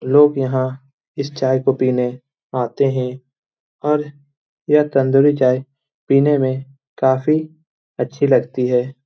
लोग यहाँ इस चाय को पीने आते हैं और यह तंदूरी चाय पीने में काफी अच्छी लगती है ।